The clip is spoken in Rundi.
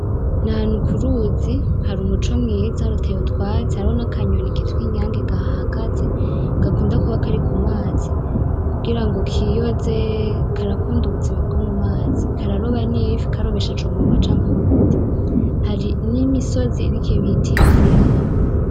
N'ahantu kuruzi, har'umuco mwiza , hateye utwatsi , hariho nakanyoni kitwa inyange kahahagaze gakunda kuba kari kumazi kugira ngo kiyoze karakunda ubuzima bwo mumazi .Kararoba n' ifi karobesheje umunwa canke amaguru. Hari n'imisozi irik'ibiti hafi yaho.